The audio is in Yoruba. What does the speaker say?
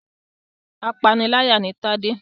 Apániláyà ni Tade.